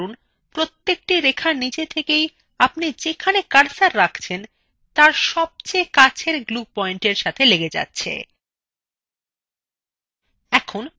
লক্ষ্য করুন প্রত্যেকটি রেখা নিজে থেকেই আপনি যেখানে cursor রাখছেন তার সবচেয়ে কাছের glue পয়েন্টএর্ব সাথে লেগে যাচ্ছে